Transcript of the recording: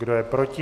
Kdo je proti?